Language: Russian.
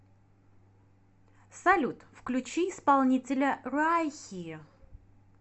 салют включи исполнителя райхи